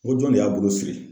N ko jɔn de y'a bolo siri.